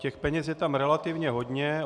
Těch peněz je tam relativně hodně.